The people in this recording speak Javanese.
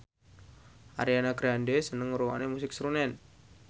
Ariana Grande seneng ngrungokne musik srunen